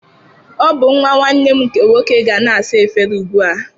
Ọ bụ nwa nwannem nke nwoke ga na-asa efere ugbu a